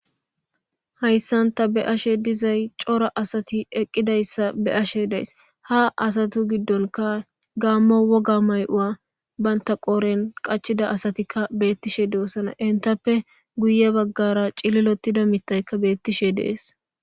hayssanta be ashe dizay cora asati eqqidayssa be ashe days ha asatu giddonka gaammo woga may7ua banta qooren qachida asatikka beettishe doossana intappe guye baggara cililotida mittaykka beettishe dees